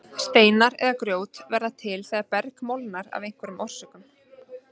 Steinar eða grjót verða til þegar berg molnar af einhverjum orsökum.